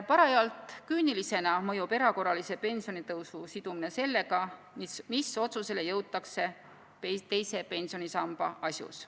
Parajalt küünilisena mõjub erakorralise pensionitõusu sidumine sellega, mis otsusele jõutakse teise pensionisamba asjus.